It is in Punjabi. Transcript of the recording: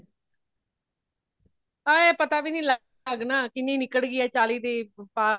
ਹਾ ਪਤਾ ਵੀ ਨਹੀਂ ਲਗਨਾ ਅੱਜ ਨਾ ਕਿੰਨੀ ਨਿਕਲ ਗਈ ਹੇ ਚਾਲੀ ਦੇ ਪਾਰ